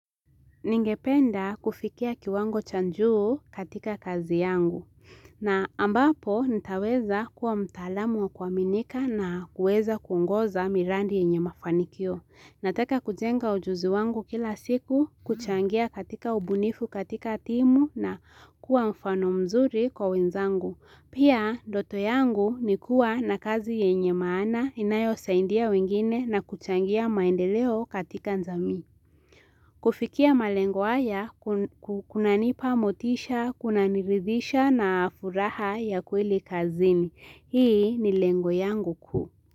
Ningependa kufikia kiwango cha juu katika kazi yangu. Na ambapo nitaweza kuwa mtalamu wa kuaminika na kuweza kuongoza mirandi yenye mafanikio. Nataka kujenga ujuzi wangu kila siku, kuchangia katika ubunifu katika timu na kuwa mfano mzuri kwa wenzangu. Pia ndoto yangu nikua na kazi yenye maana inayosaindia wengine na kuchangia maendeleo katika jamii. Kufikia malengo haya, kuna nipa motisha, kuna niridisha na furaha ya kweli kazini. Hii ni lengo yangu kuu.